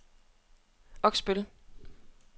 Oksbøl